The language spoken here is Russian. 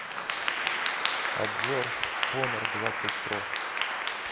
обзор хонор двадцать про